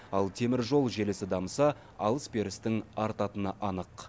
ал теміржол желісі дамыса алыс берістің артатыны анық